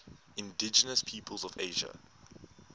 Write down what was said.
indigenous peoples of asia